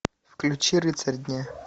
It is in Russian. включи рыцарь дня